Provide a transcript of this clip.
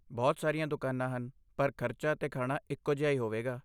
ਬਹੁਤ ਸਾਰੀਆਂ ਦੁਕਾਨਾਂ ਹਨ, ਪਰ ਖਰਚਾ ਅਤੇ ਖਾਣਾ ਇੱਕੋ ਜਿਹਾ ਹੀ ਹੋਵੇਗਾ।